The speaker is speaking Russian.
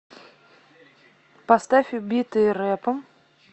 поставь убитые рэпом